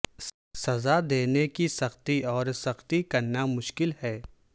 سزا دینے کی سختی اور سختی کرنا مشکل ہے